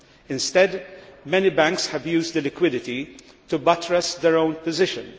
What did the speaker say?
Instead, many banks have used the liquidity to buttress their own position.